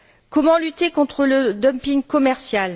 Comment lutter contre le dumping commercial?